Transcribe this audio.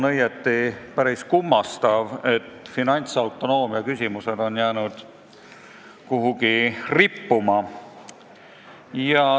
Õieti on päris kummastav, et finantsautonoomia küsimused on jäänud kuhugi rippuma.